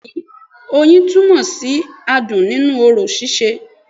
Bẹ́ẹ̀ni i oyin túnmọ̀ sí adùn nínú orò síse